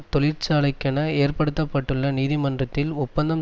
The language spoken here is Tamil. தொழிற்சாலைக்கென ஏற்படுத்த பட்டுள்ள நீதிமன்றத்தில் ஒப்பந்தம்